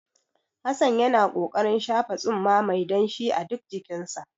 Hassan yana ƙoƙarin shafa tsumma mai danshi a duk jikinsa.